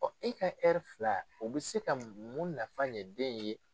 e ka fila o bɛ se ka mun nafa ɲɛ den ye.